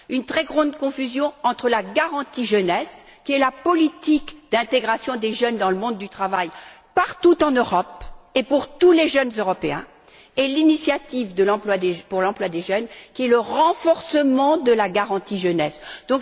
Il existe une grande confusion entre la garantie pour la jeunesse, qui est la politique d'intégration des jeunes dans le monde du travail partout en Europe et pour tous les jeunes Européens, et l'initiative pour l'emploi des jeunes, qui est le renforcement de la garantie pour la jeunesse.